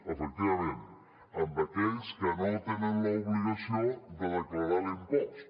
efectivament a aquells que no tenen l’obligació de declarar l’impost